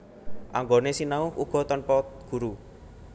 Anggone sinau uga tanpa guru